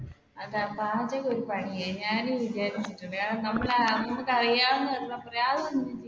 അതാ പാചകം ഒരു പണിയാ